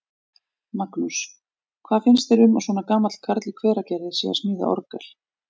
Magnús: Hvað finnst þér um að svona gamall karl í Hveragerði sé að smíða orgel?